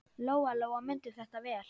Lóa-Lóa mundi þetta vel.